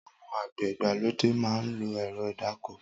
Awọn ágbẹ̀ igbàlódé mà n lọ́ ẹ̀rọ̀ idàkọ́